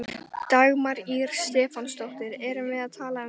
Dagmar Ýr Stefánsdóttir: Erum við að tala um klofning?